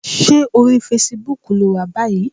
Ṣé orí fesibúùkù ló wà báyìí?